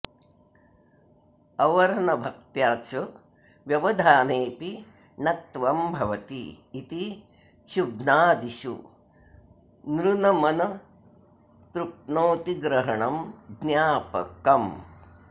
अवर्नभक्त्या च व्यवधाने ऽपि णत्वं भवति इति क्षुभ्नादिषु नृनमनतृप्नोतिग्रहणं ज्ञापकम्